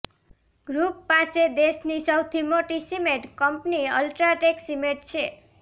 group પાસે દેશની સૌથી મોટી સિમેન્ટ કંપની અલ્ટ્રાટેક સિમેન્ટ છે